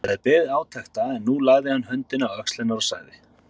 Hann hafði beðið átekta en nú lagði hann höndina á öxlina á henni og sagði